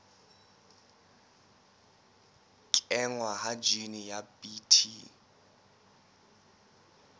kenngwa ha jine ya bt